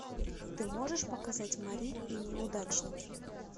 ты можешь показать мари и неудачники